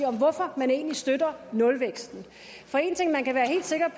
om hvorfor man egentlig støtter nulvækst for en ting man kan være helt sikker